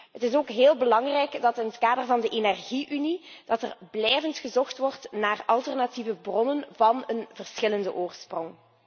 Het is ook heel belangrijk dat in het kader van de Energie unie blijvend gezocht wordt naar alternatieve bronnen van verschillende oorsprong.